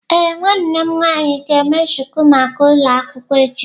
Ee, nwanne m nwanyi ga eme shuku maka ulo akwukwo echi.